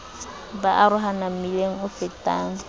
ba arohana mmileng o fetang